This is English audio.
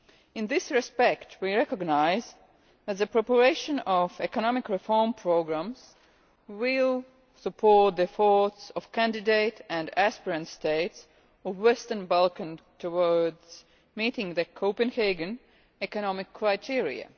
In this respect we recognise that the preparation of economic reform programmes will support the efforts of candidate and aspirant states of the Western Balkans towards meeting the Copenhagen economic criteria.